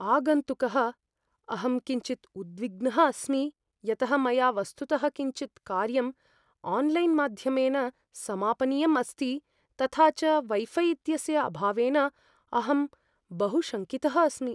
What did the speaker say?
आगन्तुकः, अहं किञ्चित् उद्विग्नः अस्मि यतः मया वस्तुतः किञ्चित् कार्यम् आन्लैन्माध्यमेन समापनीयं अस्ति, तथा च वै फ़ै इत्यस्य अभावेन अहं बहु शङ्कितः अस्मि।